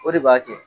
O de b'a kɛ